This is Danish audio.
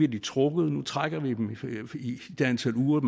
trukket i det antal uger